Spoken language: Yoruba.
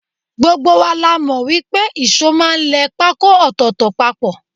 Gbogbo wa la mọ̀ pé ìṣó máa ń lẹ pákó ọ̀tọ̀ọ̀tọ̀ papọ̀